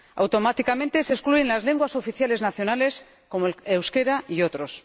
Automáticamente, se excluyen las lenguas oficiales nacionales como el euskera y otras.